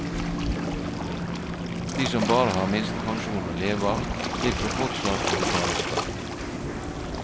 De som bare har minstepensjon å leve av, slipper fortsatt å betale skatt.